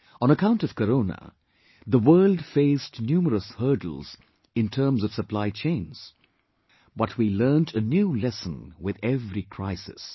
On account of Corona, the world faced numerous hurdles in terms of supply chains...But we learn a new lesson with every crisis